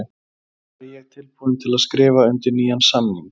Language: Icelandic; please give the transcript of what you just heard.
Væri ég tilbúinn til að skrifa undir nýjan samning?